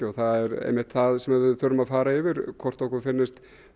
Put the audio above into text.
og það er einmitt það sem við þurfum að fara yfir hvort okkur finnist